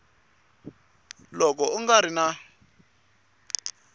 loko u nga ri na